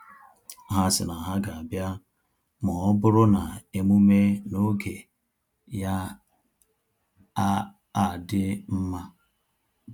Ha si na ha ga abia ma ọ bụrụ na emume na-oge ya a adị mma